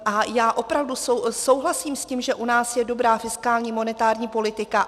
A já opravdu souhlasím s tím, že u nás je dobrá fiskální, monetární politika.